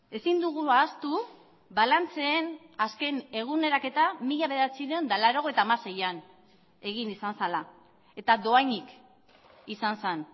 ezin dugu ahaztu balantzeen azken eguneraketa mila bederatziehun eta laurogeita hamaseian egin izan zela eta dohainik izan zen